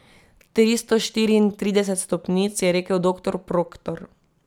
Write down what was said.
Tristo štiriintrideset stopnic, je rekel doktor Proktor.